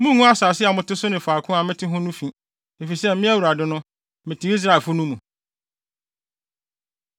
Munngu asase a mote so ne faako a mete no ho fi, efisɛ Me, Awurade no, mete Israelfo no mu.’ ”